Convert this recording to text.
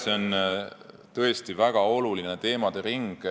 See on tõesti väga oluline teemaring.